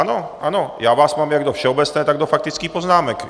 Ano, ano, mám vás tady jak do všeobecné, tak do faktických poznámek.